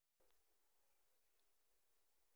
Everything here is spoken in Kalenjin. Akenge.